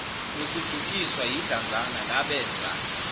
nokudukiswa yidlanzana labenza